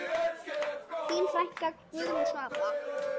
Þín frænka, Guðrún Svava.